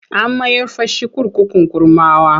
An mayar fa shi kurkukun Kurmawa.